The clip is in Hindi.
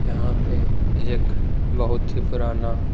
यहाँ पे एक बहुत ही पुराना--